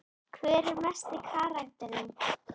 Hver er mesti karakterinn?